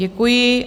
Děkuji.